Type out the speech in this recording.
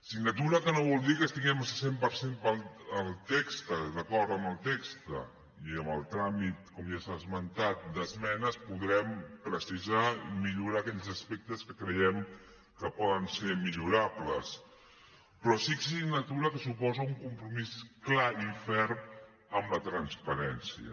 signatura que no vol dir que estiguem al cent per cent d’acord amb el text i en el tràmit com ja s’ha esmentat d’esmenes podrem precisar i millorar aquells aspectes que creiem que poden ser millorables però sí signatura que suposa un compromís clar i ferm amb la transparència